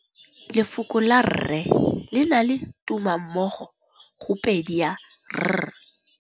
Lefoko la rre, le na le tumammogôpedi ya, r.